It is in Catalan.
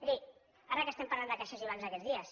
miri ara que estem parlant de caixes i bancs aquests dies